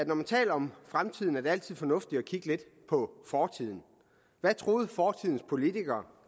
når man taler om fremtiden altid er fornuftigt at kigge lidt på fortiden hvad troede fortidens politikere